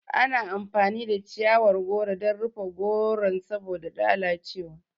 Ana amfani da chiyawar goro dan rufe goron saboda lalace wa